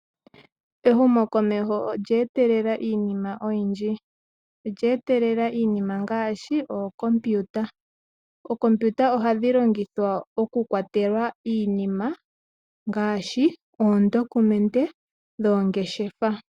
Ehumokomeho olya etelela iinima oyindji. Olya etelela iinima ngaashi ookompiyuta . Ookompiyuta ohadhi longithwa oku kwatela iinima ngaashi oondokumende dhoongeshefa.